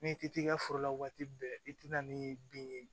Ni ti t'i ka foro la waati bɛɛ i ti na ni bin ye